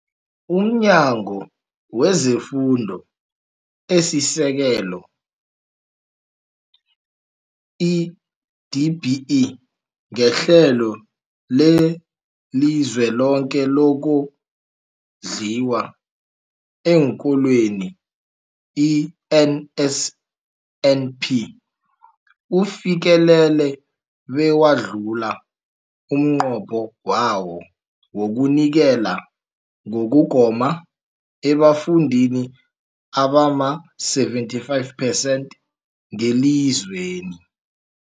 UmNyango wezeFundo esiSekelo, i-DBE, ngeHlelo leliZweloke lokoNdliwa eenKolweni, i-NSNP, ufikelele bewadlula umnqopho wawo wokunikela ngokugoma ebafundini abama-75 percent ngelizweni.